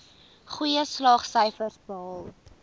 goeie slaagsyfers behaal